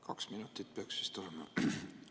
Kaks minutit peaks vist olema.